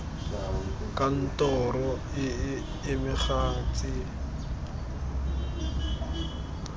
kantoro e e amegang tse